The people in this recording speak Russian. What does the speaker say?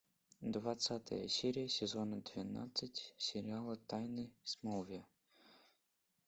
двадцатая серия сезона двенадцать сериала тайны смолвиля